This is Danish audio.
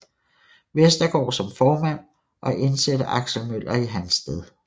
Westergaard som formand og indsætte Aksel Møller i hans sted